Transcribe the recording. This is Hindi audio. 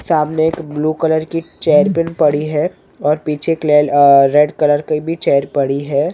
सामने एक ब्लू कलर की चेयर पिन पड़ी हैं और पीछे किले आ एक रेड कलर की भी चेयर पड़ी हैं ।